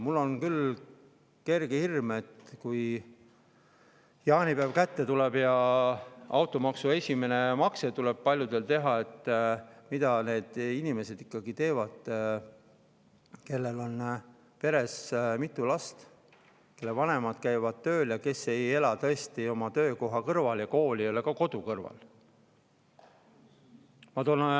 Mul on küll kerge hirm, et kui jaanipäev kätte tuleb ja paljudel tuleb automaksu esimene makse teha, mida siis ikkagi teevad need inimesed, kellel on peres mitu last, kelle vanemad käivad tööl ja kes ei ela tõesti oma töökoha kõrval ja kool ei ole ka kodu kõrval.